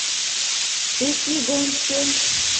весьегонске